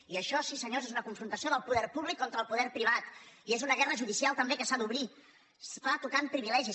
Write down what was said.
i això sí senyors és una confrontació del poder pú·blic contra el poder privat i és una guerra judicial tam·bé que s’ha d’obrir es fa tocant privilegis